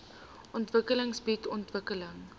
ontwikkeling bied ontwikkeling